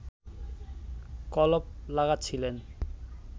কলপ লাগাচ্ছিলেন